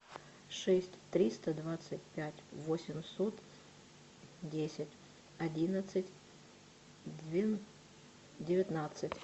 шесть триста двадцать пять восемьсот десять одиннадцать девятнадцать